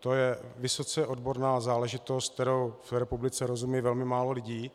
To je vysoce odborná záležitost, které v republice rozumí velmi válo lidí,